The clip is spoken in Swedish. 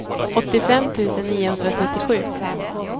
åttiofem tusen niohundratrettiosju